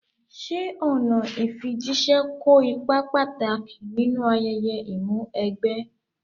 Ṣé ọ̀nà ìfijíṣẹ́ kó ipa pàtàkì nínú ayẹyẹ Ìmúw'ẹgbẹ́?